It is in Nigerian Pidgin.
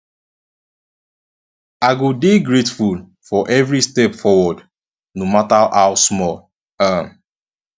i go dey grateful for every step forward no mata how small um